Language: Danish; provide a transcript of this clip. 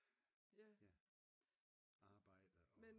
Arbejde og